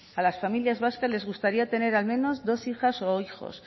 a las familias vascas les gustaría tener al menos dos hijas o hijos